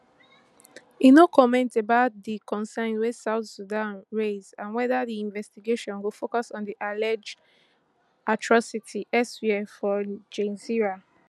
e no comment about di concerns wey south sudan raise and weda di investigation go focus on alleged atrocities elsewhere for gezira